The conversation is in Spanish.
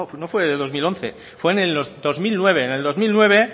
no fue en el dos mil once fue en el dos mil nueve en el dos mil nueve